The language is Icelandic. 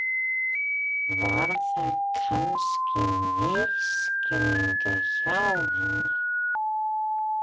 Var það kannski misskilningur hjá henni?